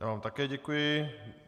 Já vám také děkuji.